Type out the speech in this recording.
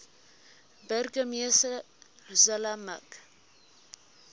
burgemeester zille mik